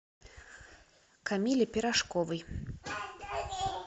камиле пирожковой